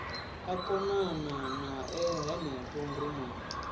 a konana nae henefho rumuni